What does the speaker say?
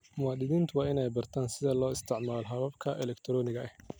Muwaadiniintu waa inay bartaan sida loo isticmaalo hababka elektaroonigga ah.